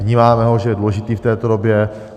Vnímáme ho, že je důležitý v této době.